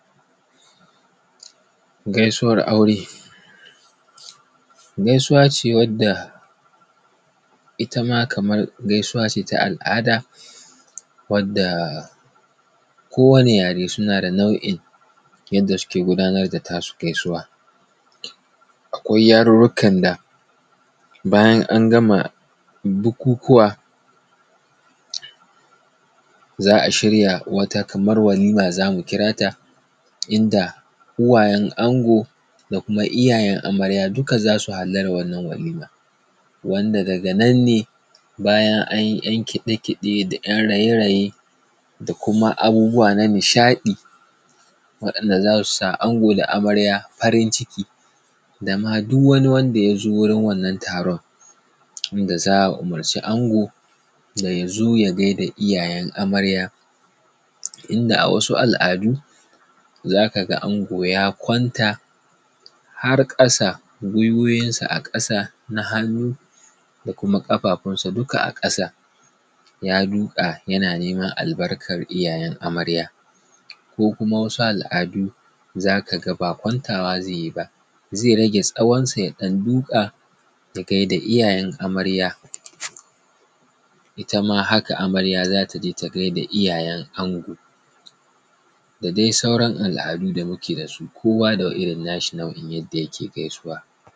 Gaisuwan aure gaisuwa ce wanda itama kaman gaisuwa ce ta al’ada wanda ko wani yare suna da nau'in da suke gudanar da tasu gaisuwan. Akwai yarurrukan da bayan an gama bukukuwa za a shirya wata kamar walima zamu kirata idan uwayen ango da kuma iyayen amarya duka su za su hallara wannan walima, wanda daga nan ne bayan an yi ‘yan kiɗe kiɗe da ‘yan raye raye da kuma abubuwa na nishadi waɗanda za su sa ango da amarya farin ciki dama duk wani wanda yazo wurin wannan taron, inda za a umurci ango da ya zo ya gaida iyayen amarya, inda a wasu al’adu za ka ga ango ya kwanta har ƙasa gwuiwowinsa a ƙasa na hannu da kuma ƙafafunsa duka a ƙasa ya duka yana neman albarkan iyayen amarya. Ko kuma wasu al’adu za ka ga ma ba kwantawa zai yi ba zai rage tsawon sa, ya ɗan duƙa ya gaida iyayen amarya. Itama haka amarya za ta je ta gaida iyayen ango da dai sauran al adu da muke da su kowa da irin na shi nau'in yanda yake gaisuwa.